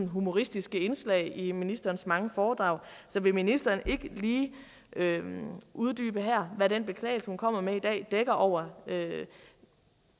humoristiske indslag i ministerens mange foredrag så vil ministeren ikke lige uddybe her hvad den beklagelse hun kommer med i dag dækker over